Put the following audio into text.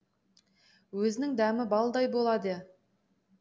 өзінің дәмі балдай болады